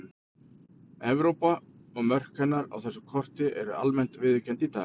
Evrópa og mörk hennar á þessu korti eru almennt viðurkennd í dag.